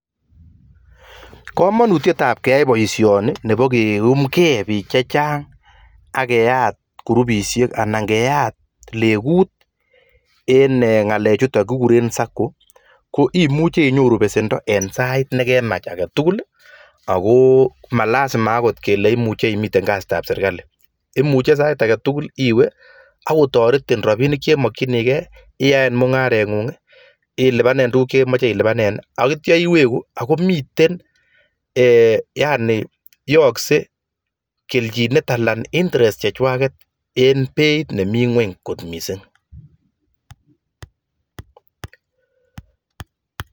Kamanutiet ab keyai boisyoni Nebo keumkei bik chechang kechop [Sacco] kotoretibich kenyor keljin Nebo chepkondok akilipan kununoik chotok en mutyonet ak [interest] nemi ng'uny